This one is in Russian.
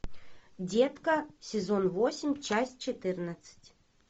детка сезон восемь часть четырнадцать